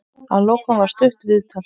Að lokum var stutt viðtal.